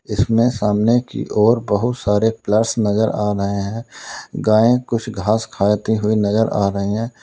इसमें सामने की ओर बहुत सारे प्लस नजर आ रहे हैं गाये कुछ घास खाती हुई नजर आ रही हैं।